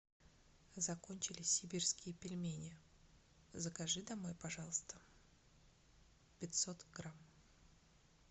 закончились сибирские пельмени закажи домой пожалуйста пятьсот грамм